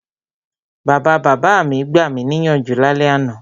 Bàbabàbá mi gbami níyànjú lálẹ́ àná.